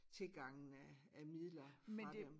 Tilgangen af af midler fra dem